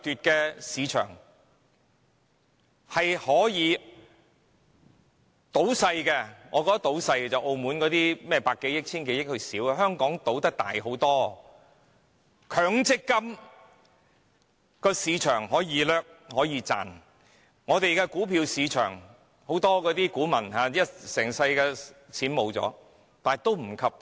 強制性公積金計劃市場可以掠奪、可以賺錢。股票市場可以令股民損失一生所賺到的金錢。